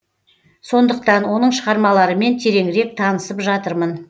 сондықтан оның шығармаларымен тереңірек танысып жатырмын